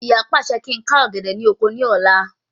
Ìyá pàṣẹ kí ń ká ọ̀gẹ̀dẹ̀ ni oko ní àná